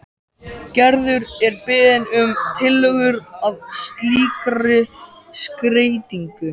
Gerður er beðin um tillögur að slíkri skreytingu.